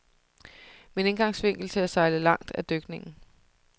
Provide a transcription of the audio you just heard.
Min indgangsvinkel til at sejle langt er dykningen.